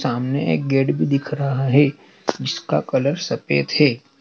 सामने एक गेट भी दिख रहा है इसका कलर सफेद है।